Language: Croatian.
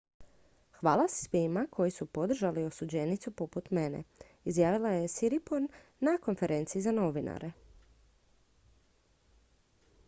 """hvala svima koji su podržali osuđenicu poput mene" izjavila je siriporn na konferenciji za novinare.